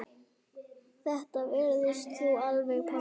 Þetta vissir þú alveg pabbi.